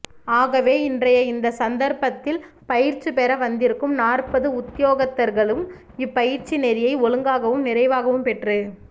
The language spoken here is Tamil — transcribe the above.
ஆகவே இன்றைய இந்த சந்தர்ப்பத்தில் பயிற்சி பெற வந்திருக்கும் நாற்பதுஉத்தியோகத்தர்களும் இப் பயிற்சி நெறியை ஒழுங்காகவும் நிறைவாகவும் பெற்று